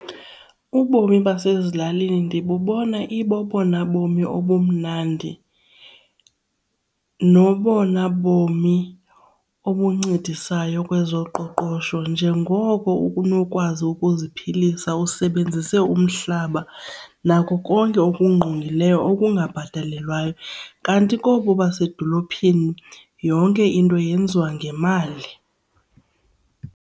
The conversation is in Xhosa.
Ubomi basezilalini ndibubona ibobona bomi obumnandi nobona bomi obuncedisayo kwezoqoqosho njengoko unokwazi ukuziphilisa usebenzise umhlaba nako konke okungqongileyo okungabhatalelwayo kanti kobu basedolophini yonke into yenziwa ngemali.